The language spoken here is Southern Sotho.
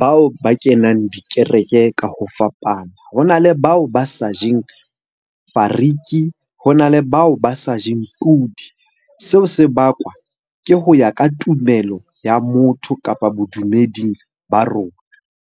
bao ba kenang dikereke ka ho fapana. Ho na le bao ba sa jeng fariki, ho na le bao ba sa jeng pudi. Seo se bakwa ke ho ya ka tumelo ya motho, kapa bodumeding ba rona.